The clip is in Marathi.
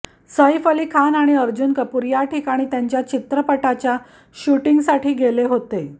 सैफ अली खान आणि अर्जुन कपूर या ठिकाणी त्यांच्या चित्रपटाच्या शुटिंगसाठी गेले होते